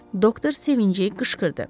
Doktor sevinci qışqırdı.